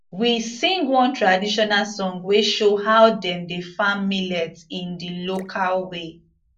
we sing one traditional song wey show how dem dey farm millet in the local way